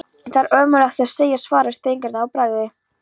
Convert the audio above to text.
Það er ómögulegt að segja svaraði Steingerður að bragði.